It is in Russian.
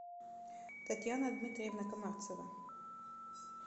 татьяна дмитриевна комарцева